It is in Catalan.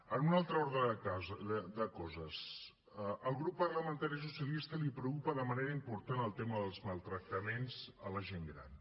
en un altre ordre de coses al grup parlamentari socialista el preocupa de manera important el tema dels maltractaments a la gent gran